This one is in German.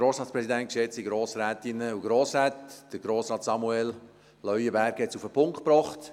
Grossrat Samuel Leuenberger hat es auf den Punkt gebracht.